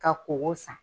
Ka koko san